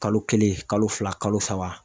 Kalo kelen kalo fila kalo saba